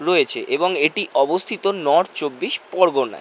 রয়েছে এবং এটি অবস্থিত নর্থ চব্বিশ পরগনায়।